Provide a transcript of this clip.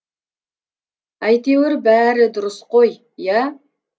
әйтеуір бәрі дұрыс қой иә